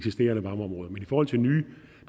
forhold til nye